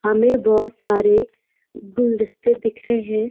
हमें बहुत सारे गुलदस्ते दिख रहे हैं।